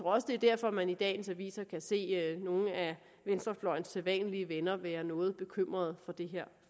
også det er derfor at man i dagens aviser kan se nogle af venstrefløjens sædvanlige venner være noget bekymrede for det